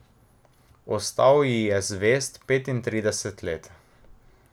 Ostal ji je zvest petintrideset let.